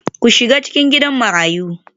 Ku shiga cikin Gidan Marayu